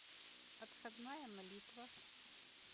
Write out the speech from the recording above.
отходная молитва